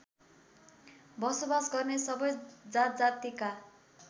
बसोबास गर्ने सबै जातजातिका